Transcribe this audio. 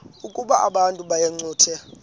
ukuba abantu bayincothule